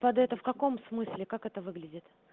под это в каком смысле как это выглядит